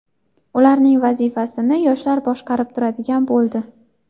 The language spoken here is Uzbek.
Ularning vazifasini yoshlar boshqarib turadigan bo‘ldi.